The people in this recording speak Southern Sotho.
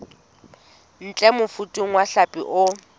ntle mofuta wa hlapi o